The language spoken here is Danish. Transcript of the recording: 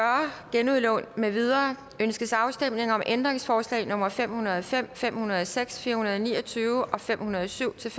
genudlån med videre ønskes afstemning om ændringsforslag nummer fem hundrede og fem fem hundrede og seks fire hundrede og ni og tyve og fem hundrede og syv til